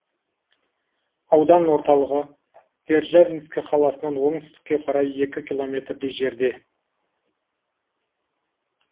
аудан орталығы державинск қаласынан оңтүстікке қарай екі километрдей жерде